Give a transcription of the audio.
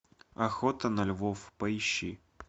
охота на львов поищи